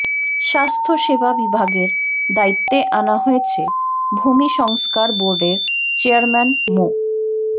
স্বাস্থ্য সেবা বিভাগের দায়িত্বে আনা হয়েছে ভূমি সংস্কার বোর্ডের চেয়ারম্যান মো